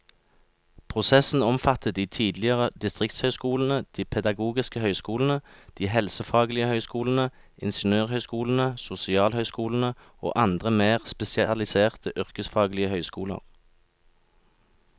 Prosessen omfattet de tidligere distriktshøyskolene, de pedagogiske høyskolene, de helsefaglige høyskolene, ingeniørhøyskolene, sosialhøyskolene og andre mer spesialiserte yrkesfaglige høyskoler.